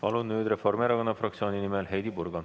Palun nüüd Reformierakonna fraktsiooni nimel Heidy Purga.